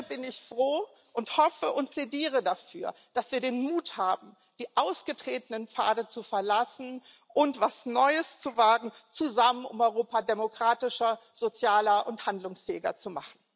Deshalb bin ich froh und hoffe und plädiere dafür, dass wir den Mut haben, die ausgetretenen Pfade zu verlassen und etwas Neues zu wagen zusammen um Europa demokratischer, sozialer und handlungsfähiger zu machen.